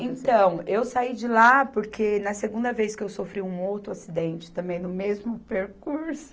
Então, eu saí de lá porque, na segunda vez que eu sofri um outro acidente, também no mesmo percurso,